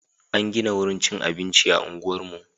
An gina wurin cikin abinci a unguwarmu.